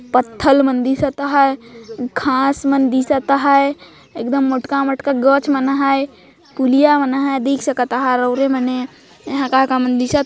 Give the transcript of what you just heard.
पत्थल मन दिसत हे घास मन दिसत हे एकदम मोटका मोटका गच मन हे पुलिया मन हे देख सकत हो और ओरे मन हे एहा का का मन दिसत हे।